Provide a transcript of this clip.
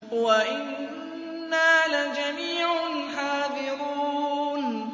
وَإِنَّا لَجَمِيعٌ حَاذِرُونَ